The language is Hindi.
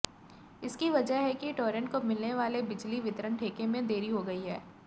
इसकी वजह है टोरेंट को मिलने वाले बिजली वितरण ठेके में देरी हो गई है